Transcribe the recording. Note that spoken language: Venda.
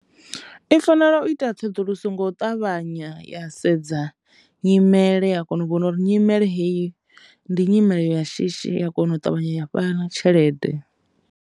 I fanela u ita tsedzuluso ngo ṱavhanya ya sedza nyimele ya kona u vhona uri nyimele hoyu ndi nyimele ya shishi ya kona u ṱavhanya ya fhana tshelede.